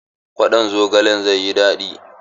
Kwaɗon zogalen zai yi daɗi.